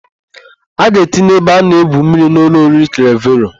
A ga-etinye ebe a na-egwu mmiri n' ụlọ oriri Klevero.